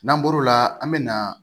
N'an bɔr'o la an bɛ na